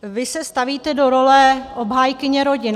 Vy se stavíte do roli obhájkyně rodin.